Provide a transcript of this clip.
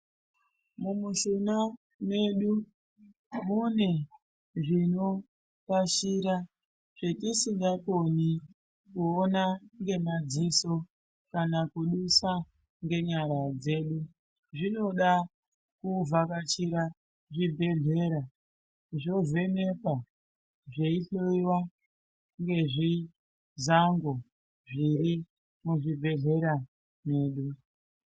Mumushuna medu mune zvinorashira zvatisingakoni kuona ngemadziso kana kudusa ngenyara dzedu . Zvinoda kuvhakachira zvibhedhlera zvovhenekwa ,zveihloiwa ngezvizango zviri muzvibhedhleya medu.